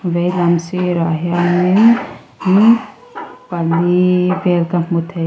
vei lam sirah hianin in pali vel ka hmu thei.